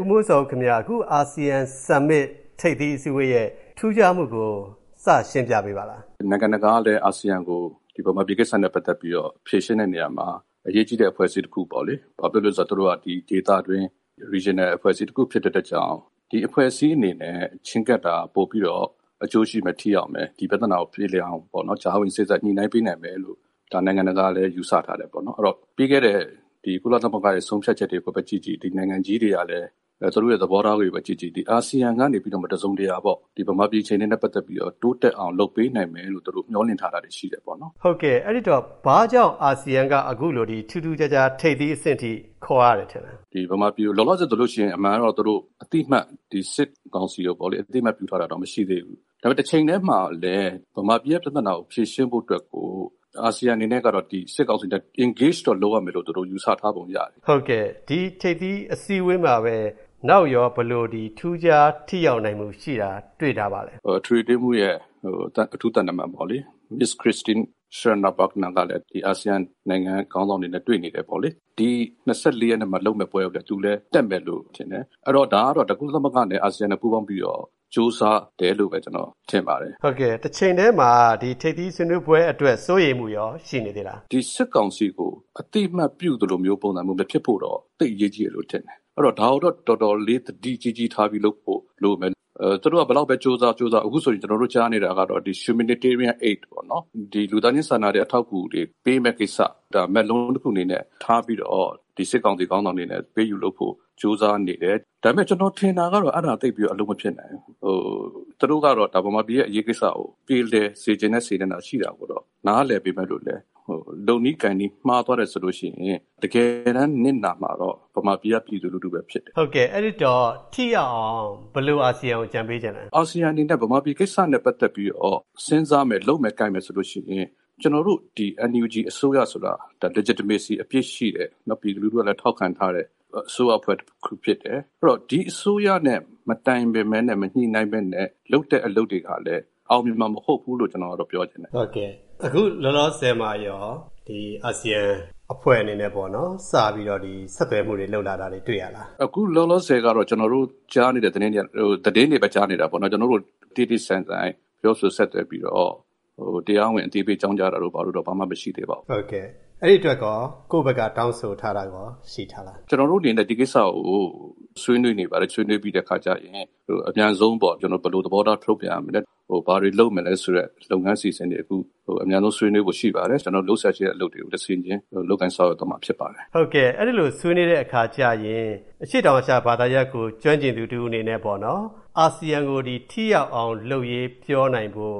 ဦးမိုးဇော်ဦးခင်ဗျ အာဆီယံထိပ်သီး အစည်းအဝေးရဲ့ ထူးခြားမှုကို ရှင်းပြပေးပါလားခင်ဗျ။ ဦးမိုးဇော်ဦး ။ ။ မြန်မာပြည်ကိစ္စနဲ့ ပတ်သက်ပြီး ဖြေရှင်းတဲ့နေရာမှာ နိုင်ငံတကာကလည်း အာဆီယံကို အရေးကြီးတဲ့ အဖွဲ့အဖြစ်မြင်တယ်။ ဘာလို့ဆို သူတို့က ဒီဒေတွင်း အဖွဲ့အစည်းတခု ဖြစ်တဲ့အတွက် ၊ ဒီအဖွဲ့အစည်း အနေနဲ့ ချည်းကပ်တာက ပိုပြီး ထိရောက်မယ် အကျိုးရှိမယ်ပေါ့။ ပြသနာပြေလည်အောင် ကြားဝင်စေ့စပ် ညှိနှိုင်းပေးနိုင်မယ်လို့ နိုင်ငံတကာက ယူဆထားတယ်။ အဲဒီတော့ ပြီးခဲ့တဲ့ ကုလသမဂ္ဂရဲ့ ဆုံးဖြတ်ချက်တွေကိုပဲ ကြည့်ကြည့် ၊ ဒီနိုင်ငံကြီးရဲ့ သဘောထားတွေကိုပဲ ကြည့်ကြည့် ၊ မြန်မာပြည် အခြေအနေနဲ့ ပတ်သက်လို့ တစုံတရာ တိုးတက်မှုရှိအောင် ဒီအာဆီယံက လုပ်ပေးနိုင်မယ်လို့ သူတို့ဖက်က မျှော်လင့်ထားတာ ရှိတယ်။ ဦးဝင်းမင်း ။ ။ အဲဒီတော့ အခုလို ထူးထူးခြားခြား ထိပ်သီးအစည်းအဝေး အဆင့်ထိဖြစ်အောင် အာဆီယံက ဘာ့ကြောင့် ခေါ်ရတယ် ထင်သလဲ။ ဦးမိုးဇော်ဦး ။ ။ လောလောဆယ်မှာတော့ ဒီစစ်ကောင်စီကို သူတို့က အသိအမှတ် ပြုထားတာမျိုးတော့ မရှိသေးဘူး။ ဒါပေမဲ့ တချိန်ထဲမှာ ဗမာပြည်ပြသနာ ဖြေရှင်းဖို့အတွက်ကို စစ်ကောင်စီကို ထိတွေ့ဆက်ဆံတာမျိုး လုပ်ရလိမ့်မယ်လို့ အာဆီယံက ယူဆထားပုံရတယ်။ ဦးဝင်းမင်း ။ ။ ဟုတ်ကဲ့ ဒီ ထိပ်သီးအစည်းအဝေးမှာပဲ နောက်ထပ် ဘာတွေ ထိရောက်ထူးခြားတာ ရှိနိုင်မလဲ။ ဦးမိုးဇော်ဦး ။ ။ ကုလအတွင်းရေးမှူးချုပ်ရဲ့ အထူးသံတမန်ပေါ့လေ Ms. မစ္စ ခရစ်စတင်း- ရှရက်နာ-ဘူဂနာကလည်း ဒီအာဆီယံ နိုင်ငံတွေရဲ့ ခေါင်းဆောင်တွေနဲ့ တွေ့နေတယ်ပေါ့။ ဧပြီ ၂၄ ရက်မှာလုပ်မယ့် ပွဲကိုလည်း သူ တက်မယ်လို့ထင်တယ်။ ဒါက ကုလသမဂ္ဂနဲ့ အာဆီယံ ပူးပေါင်းပြီးတော့ ကြိုးစားတဲ့သဘောလို့ ကျနော် ထင်ပါတယ်။ ဦးဝင်းမင်း ။ ။ ဟုတ်ကဲ့ တချိန်ထဲမှာ ဒီထိပ်သီး ဆွေးနွေးပွဲအတွက် စိုးရိမ်မှုရော ရှိပါသလား။ ဦးမိုးဇော်ဦး ။ ။ ဒီ စစ်ကောင်စီကို အသိအမှတ်ပြုတဲ့ ပုံစံမျိုး မဖြစ်ဖို့တော့ သိပ်အရေးကြီးတယ် ထင်တယ်။ ဒါကိုတော့ အတော်လေး သတိကြီးကြီးထားပြီး လုပ်ဖို့ လိုမယ်ထင်တယ်။ သူတို့က ဘယ်လောက်ပဲ ကြိုးစားကြိုးစားပေါ့ ၊ အခု ကျနော်တို့ ကြားနေရတာက လူသားချင်းစာနာတဲ့ အကူအညီတွေပေးမယ့်ကိစ္စပေါ့ ၊ ဒါကို မက်လုံးတခု အနေနဲ့ထားပြီးတော့ ဒီစစ်ကောင်စီ ခေါင်းဆောင်တွေနဲ့ အပေးအယူလုပ်ဖို့ ကြိုးစားနေကြတယ်။ ဒါပေမဲ့ ကျနော်ထင်တာတော့ အဲဒါက သိပ်ပြီးအလုပ်မဖြစ်နိုင်ဘူး။ သူတို့က ဗမာပြည်ရဲ့ အရေးကိစ္စကို ပြေလည်စေချင်တဲ့ စေတနာ ရှိတာကိုတော့ နားလည်ပေမယ့်လည်း လုပ်နည်းကိုင်နည်း မှားသွားတယ်ဆိုရင် တကယ်နစ်နာမှာကတော့ ဗမာပြည်က ပြည်သူလူထုပဲ ဖြစ်တယ်။ ဦးဝင်းမင်း ။ ။ ဟုတ်ကဲ့ အဲဒီတော့ ထိရောက်အောင်ဆိုရင် အာဆီယံကို ဘယ်လို အကြံပေးချင်လဲ။ ဦးမိုးဇော်ဦး ။ ။ အာဆီယံ အနေနဲ့ ဗမာပြည်ကိစ္စနဲ့ ပတ်သက်ပြီးတော့ စဉ်းစားမယ်၊ လုပ်မယ် ကိုင်မယ် ဆိုလို့ရှိရင် ကျနော်တို့ ဒီ NUG အစိုးရဆိုတာ ၊ ပြည်သူလူထုကလည်း ထောက်ခံထားတဲ့ တရားဝင်မှု အပြည့်အဝရှိတဲ့ အစိုးရအဖွဲ့ တခုဖြစ်တဲ့အတွက် ဒီအစိုးရနဲ့ မတိုင်ပင် မညှိနှိုင်းပဲနဲ့ လုပ်တဲ့အလုပ်တွေကလည်း အောင်မြင်မှာ မဟုတ်ဘူးလို့ပဲ ကျနော်ကတော့ ပြောချင်တယ်။ ဦးဝင်းမင်း ။ ။ အခုလောလောဆယ်မှာရော NUG ကို အာဆီယံအဖွဲ့အနေနဲ့ စပြီးတော့ ဆက်သွယ်မှု လုပ်တာတွေ တွေ့ရလား ။ ဦးမိုးဇော်ဦး ။ ။ အခုလောလောဆယ်တော့ ကျနော်တို့ သတင်းတွေပဲ ကြားနေတာပေါ့နော်။ ကျနော်တို့ကို တေ့တေ့ဆိုင်ဆိုင် တရားဝင် အသိပေးအကြောင်းကြားပြီး ပြောဆိုဆက်သွယ်တာမျိုးတော့ ဘာမှ မရှိသေးပါဘူး။ ဦးဝင်းမင်း ။ ။ ဟုတ်ကဲ့ အဲဒီအတွက် ကိုယ့်ဖက်က တောင်းဆိုထားတာမျိုးရော ရှိထားလား ။ ဦးမိုးဇော်ဦး ။ ။ ကျနော်တို့ အနေနဲ့ ဒီကိစ္စကို ဆွေးနွေးနေပါတယ်။ ဆွေးနွေးပြီးတဲ့ အခါကျရင် အမြန်ဆုံးပေါ့၊ ဘယ်လို သဘောထား ထုတ်ပြန်ရမလဲ၊ ဘာတွေ လုပ်မလဲဆိုတဲ့ လုပ်ငန်းအစီအစဉ်တွေကို အမြန်ဆုံးဆွေးနွေးဖို့ ရှိပါတယ်။ ကျနော်တို့ လုပ်စရာရှိတဲ့ အလုပ်တွေကို တဆင့်ချင်း လုပ်ကိုင်သွားမှာ ဖြစ်ပါတယ်။ ဦးဝင်းမင်း ။ ။ အဲဒီလိုမျိုး ဆွေးနွေးတဲ့အခါကျရင် အရှေ့တောင်အာရှ ဘာသာရပ်ကို ကျွမ်းကျင်သူတဦး အနေနဲ့ပေါ့နော် ၊ ထိရောက်တဲ့ ရလဒ်တွေပေါ်လာဖို့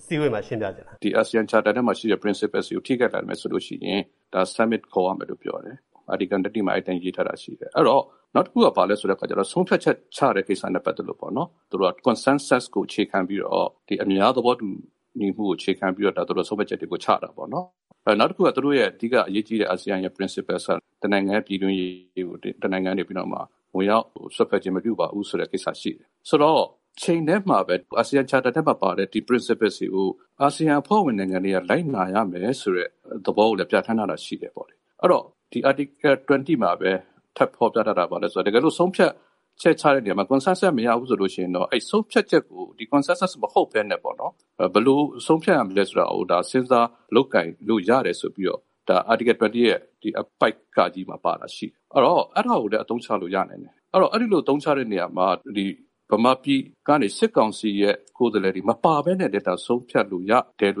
အစည်းအဝေးမှာ အာဆီယံကို ဘယ်လိုမျိုး ရှင်းပြချင်တာ ရှိပါသလဲ။ ဦးမိုးဇော်ဦး ။ ။ ဒီအာဆီယံအဖွဲ့ရဲ့ ပဋိဉာဉ်ထဲမှာရှိတဲ့ စည်းမျည်းတွေကို ထိခိုက်လာမယ်ဆိုလို့ရှိရင် ထိပ်သီး ဆွေးနွေးပွဲတွေ ခေါ်ရမယ်လို့ ပြောထားတယ်။ အဲဒီတိုင်း ရေးထားတာလည်းရှိတယ်။ အဲဒီတော့ နောက်တခုက - ဆုံးဖြတ်ချက် ချတဲ့ကိစ္စတွေမှာလည်း သူတို့က Consensus ပေါ့ ၊ အများသဘောတူညီမှုကို အခြေခံပြီး ဆုံးဖြတ်ချက်တွေကို ချတာပေါ့။ နောက်တခုက အာဆီယံရဲ့ အဓိက အရေးကြီးတဲ့ Principle ဆိုတာက နိုင်ငံတခုရဲ့ ပြည်တွင်းရေးကို အခြားနိုင်ငံတွေက ဝင်ရောက် စွက်ဖက်ခြင်း မပြုပါဘူးဆိုတဲ့ မူဝါဒရှိတယ်။ ဆိုတော့ တချိန်ထဲမှာပဲ အာဆီယံ သဘောတူမှု ပဋိဉာဉ်ထဲမှာပါတဲ့ ဒီသတ်မှတ်ချက်တွေကို အာဆီယံနိုင်ငံတွေက လိုက်နာ ရမယ်ဆိုတဲ့ သဘောကိုလည်း ပြဌာန်းထားတာ ရှိတယ်။ အဲဒီတော့ ဒီ Article 20 မှာပဲ ထပ်ပြီးဖေါ်ပြထားတာက ဘာလဲဆိုတော့.. တကယ်လို့ ဆုံးဖြတ်ချက် ချတဲ့နေရာမှာ အားလုံးရဲ့ သဘောတူညီချက် မရဘူးဆိုရင် ၊ အဲဒီဆုံးဖြတ်ချက်ကို ဒီ့Consensus မဟုတ်ပဲနဲ့ပေါ့နော် ၊ ဘယ်လို ဆုံးဖြတ်ရမလဲဆိုတာကို စဉ်စားလုပ်ကိုင်လို့ ရတယ်ဆိုပြီးတော့.. အဲဒီ Article 20 ရဲ့ အပိုဒ် မှာ ပါနေတာ ရှိတာပေါ့ ။ အဲဒီတော့ အဲဒါကိုလည်း အသုံးချလို့ရတာ ရှိနိုင်တယ်။ အဲဒီလို အသုံးချလို့ ရတဲ့နေရာမှာ ဗမာပြည်က စစ်ကောင်စီရဲ့ ကိုယ်စားလှယ်တွေ မပါပဲနဲ့လည်း ဆုံးဖြတ်လို့ ရတယ်လို့လည်း ကျ